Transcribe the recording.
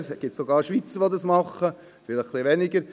Es gibt sogar Schweizer, die das machen, vielleicht etwas weniger.